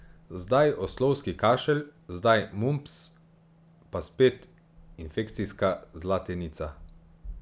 Zdaj oslovski kašelj, zdaj mumps, pa spet infekcijska zlatenica.